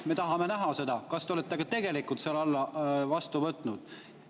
Me tahame näha, kas te olete ka tegelikult selle vastu võtnud.